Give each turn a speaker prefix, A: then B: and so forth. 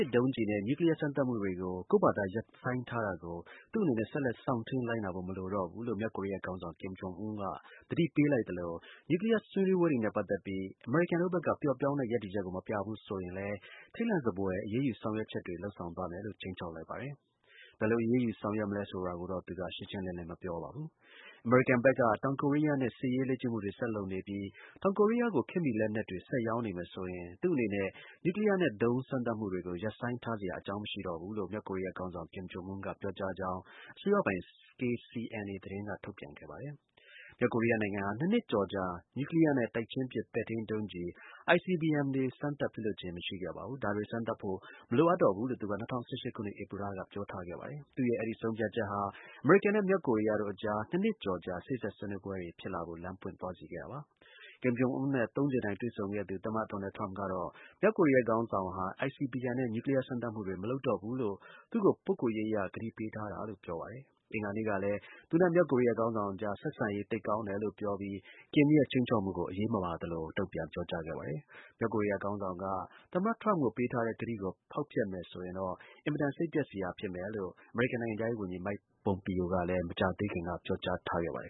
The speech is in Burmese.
A: စ် ဒုံးကျည်နဲ့ နျူးကလီးယား စမ်းသပ်မှုတွေကို ကိုယ့်ဘာသာ ရပ်ဆိုင်းထားတာကို သူ့အနေနဲ့ ဆက်လက် စောင့်ထိန်းလိုက်နာဖို့ မလိုတော့ဘူးလို့ မြောက်ကိုရီးယား ခေါင်းဆောင် Kim Jong Un က သတိပေးလိုက်သလို နျူးကလီယား ဆွေးနွေးပွဲတွေနဲ့ ပတ်သက်ပြီး အမေရိကန်တို့ ဘက်က ပျော့ပျောင်းတဲ့ ရပ်တည်ချက်ကို မပြဘူးဆိုရင်လည်း ထိတ်လန့်စဖွယ် အရေးယူ ဆောင်ရွက် ချက်တွေ လုပ်ဆောင်သွားမယ်လို့ ခြိမ်းခြောက်လိုက်ပါတယ်။ ဘယ်လို အရေးယူ ဆောင်ရွက်မလဲ ဆိုတာတော့ သူက ရှင်းရှင်း လင်းလင်း မပြောပါဘူး။ အမေရိကန်ဘက်က တောင်ကိုရီးယားနဲ့ စစ်ရေးလေ့ကျင့်မှုတွေ ဆက်လုပ်နေပြီး တောင်ကိုရီးယားကို ခေတ်မီလက်နက်တွေ ဆက်ရောင်းနေမယ်ဆိုရင် သူ့အနေနဲ့ နျူးကလီးယား နဲ့ ဒုံးစမ်းသပ်မှုတွေကို ရပ်ဆိုင်းထားစရာ အကြောင်းမရှိဘူး လို့ မြောက်ကိုရီးယားခေါင်းဆောင် Kim Jong Un က ပြောကြားကြောင်း အစိုးရပိုင် KCNA သတင်းက ထုတ်ပြန်ခဲ့ပါတယ်။ မြောက်ကိုရီးယားနိုင်ငံဟာ ၂ နှစ်ကျော်ကြာ နျူးကလီးယားနဲ့ တိုက်ချင်းပစ် ပဲ့ထိန်း ဒုံးကျည် (ICBM) တွေ စမ်းသပ် ပစ်လွှတ်ခြင်း မရှိခဲ့ပါဘူး။ ဒါတွေ စမ်းသပ်ဖို့ မလိုအပ်တော့ဘူးလို့ သူက ၂၀၁၈ ခုနှစ် ဧပြီလက ပြောထားခဲ့ပါတယ်။ သူ့ရဲ့ အဲဒီ ဆုံးဖြတ်ချက်ဟာ အမေရိကန်နဲ့ မြောက်ကိုရီးယားတို့အကြား ၂ နှစ်ကျော်ကြာ စေ့စပ်ဆွေးနွေးပွဲတွေ ဖြစ်လာဖို့ လမ်းပွင့်သွားစေခဲ့တာပါ။ Kim Jong Un နဲ့ သုံးကြိမ်တိုင် တွေ့ဆုံခဲ့သူ သမ္မတ ဒေါ်နယ်ထရမ့်ကတော့ မြောက်ကိုရီးယား ခေါင်းဆောင်ဟာ ICBM နဲ့ နျူးကလီးယား စမ်းသပ်မှုတွေ မလုပ်တော့ဘူးလို့ သူ့ကို ပုဂ္ဂိုလ်ရေးအရ ကတိပေးထားတာလို့ ပြောပါတယ်။ အင်္ဂါနေ့ကလည်း သူနဲ့ မြောက်ကိုရီးယား ခေါင်းဆောင်အကြား ဆက်ဆံရေး သိပ်ကောင်းတယ်လို့ ပြောပြီး Kim ရဲ့ ခြိမ်းခြောက်မှုကို အရေးမပါသလို ပြောကြားခဲ့ပါတယ်။ မြောက်ကိုရီးယား ခေါင်းဆောင်က သမ္မတ Trump ကို ပေးထားတဲ့ ကတိကို ဖောက်ဖျက်မယ်ဆိုရင်တော့ အင်မတန်စိတ်ပျက်စရာ ဖြစ်မယ်လို့ အမေရိကန်နိုင်ငံခြားရေးဝန်ကြီး Mike Pompeo ကလည်း မကြာပေးခင်က ပြောကြားထားပါတယ